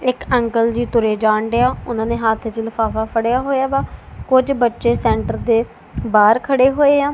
ਇਕ ਅੰਕਲ ਜੀ ਤੁਰੇ ਜਾਣ ਡਏ ਆ ਉਹਨਾਂ ਨੇ ਹੱਥ ਚ ਲਿਫਾਫਾ ਫੜਿਆ ਹੋਇਆ ਵਾ ਕੁਝ ਬੱਚੇ ਸੈਂਟਰ ਦੇ ਬਾਹਰ ਖੜੇ ਹੋਏ ਆ।